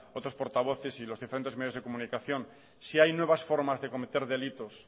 otros portavoces y los diferentes medios de comunicación si hay nuevas formas de cometer delitos